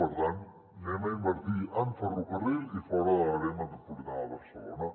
per tant anem a invertir en ferrocarril i fora de l’àrea metropolitana de barcelona